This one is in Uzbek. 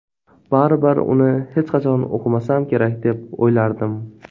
Baribir uni hech qachon o‘qimasam kerak deb o‘ylardim.